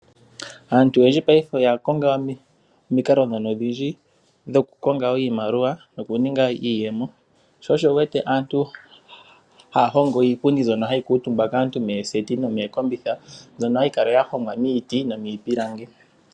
Aantu oyendji paife oya konga omikalo ndhono odhindji, dhokukonga iimaliwa, nokuninga iiyemo. Sho osho wuwete aantu haya hongo iipundi mbyono hayi kuuntumbiwa kaantu mooseti, noshowo mookombitha, mbono hayi kala yahongwa miiti, nomiipilangi.